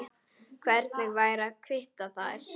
Hvernig væri að hvítta þær?